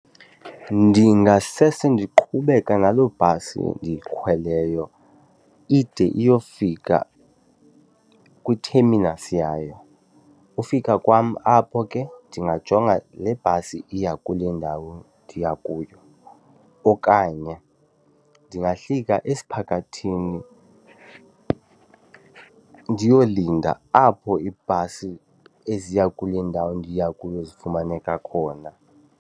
Ndingasese ndiqhubeka naloo bhasi ndiyikhweleyo ide iyofika kwi-terminus yayo. Ufika kwam apho ke ndingajonga le bhasi iya kule ndawo ndiya kuyo okanye ndingahlika esiphakathini ndiyolinda apho iibhasi eziya kule ndawo ndiya kuyo zifumaneka khona.